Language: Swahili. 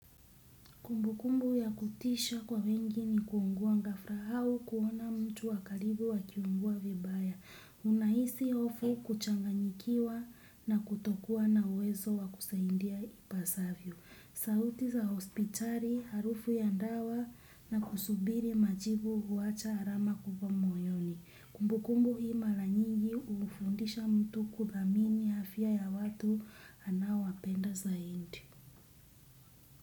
Kumbu kumbu ya kutisha kwa wengi ni kuungua ghafla au kuona mtu wa karibu akiungua vibaya. Unahisi hofu kuchanganyikiwa na kutokuwa na uwezo wa kusaidia ipasavyo. Sauti za hospitali harufu ya dawa na kusubiri majibu huwacha alama kubwa moyoni. Kumbu kumbu hii mara nyigi humfundisha mtu kuthamini afya ya watu anaowapenda zaidi.